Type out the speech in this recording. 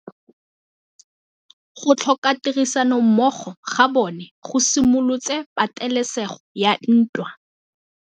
Go tlhoka tirsanommogo ga bone go simolotse patêlêsêgô ya ntwa.